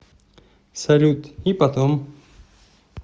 салют и потом